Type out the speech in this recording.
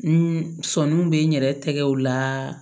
N sɔnin bɛ n yɛrɛ tɛgɛw la